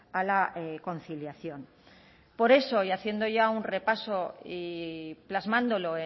a la conciliación por eso y haciendo ya un repaso y plasmándolo